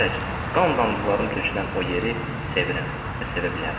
qan damcılarım tökülən o yeri sevirəm və sevə bilərəm.